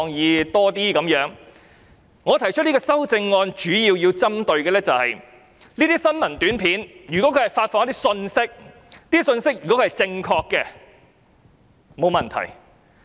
因此，我今天提出這項修正案主要想針對的是，如果新聞短片所發放的信息是正確的，那當然沒有問題。